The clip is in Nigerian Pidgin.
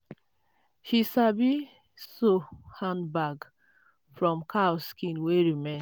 she sabi sow handbag from cow skin wey remain.